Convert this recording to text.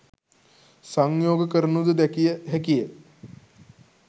සංයෝග කරනුද දැකිය හැකිය